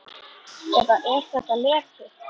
Eða er þetta leti?